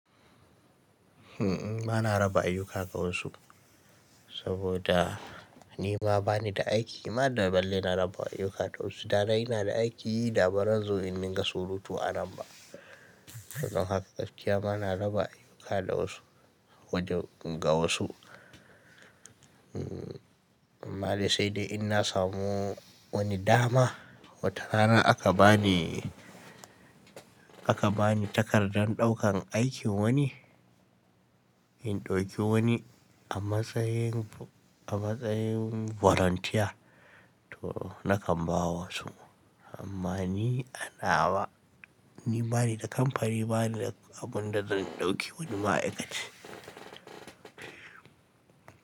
Uhm, bana raba ayyuka ga wasu saboda ni ma bani da aiki. Ma da balle na raba ayyuka ga wasu. Da dai ina da aiki, da baran zo in ninga surutu a namba. Don haka gaskiya bana raba ayyuka da wasu, wajen, ga wasu. Uhm, amma dai sai dai in na samu wani dama wata rana aka bani, aka bani takardar ɗaukan aikin wani, in ɗauki wani a matsayin, a matsayin volunteer to nakan ba wa wasu. Amma ni anawa, ni bani da kamfani, bani da abun da zan ɗauki wani ma aikace.